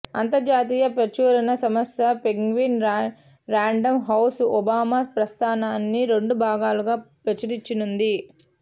అంతర్జాతీయ ప్రచురణ సంస్థ పెంగ్విన్ ర్యాండమ్ హౌస్ ఒబామా ప్రస్థానాన్ని రెండు భాగాలుగా ప్రచురించనుంది